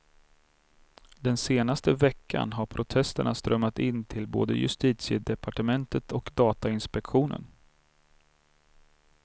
Den senaste veckan har protesterna strömmat in till både justitiedepartementet och datainspektionen.